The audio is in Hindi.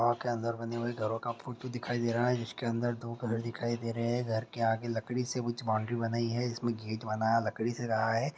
--पा के अंदर बनी हुई घरों का फोटो दिखाई दे रहा हैं जिसके अंदर दो कलर दिखाई दे रहे हैं घर के आगे लकड़ी से उच्च बॉउन्ड्री बनाई है जिसमे घेत बनाया लकड़ी से रहा हैं।